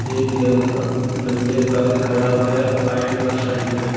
एक लड़का नंगे पैर खड़ा हुआ है पैंट और शल्ड में--